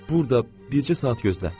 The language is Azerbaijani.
Burada bircə saat gözlə.